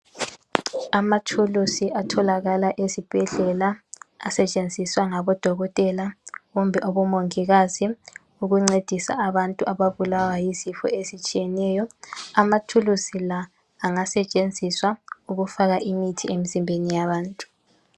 Amathuluzi atholakala ezibhedlela asetshenziswa ngabadokotela kumbe abomongikazi ukuncedisa abantu ababulawa yizifo ezitshiyeneyo. Amathuluzi la angasetshenziswa ukufaka imithi emzimbeni yabantu.